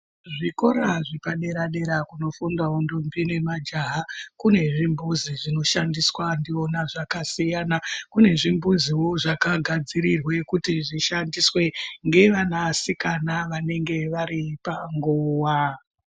Zvikora zvepadera-dera kunofundawo ndombi nemajaha kune zvimbudzi zvinoshandiswa ndiwona zvakasiyana. Kune zvimbuziwo zvakagadzirirwe kuti zvishandiswe ngevanasikana vanenge vari panguwa.